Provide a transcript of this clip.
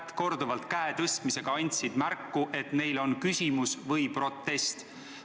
Käe korduva tõstmisega andsid nad märku, et neil on küsimus või protest.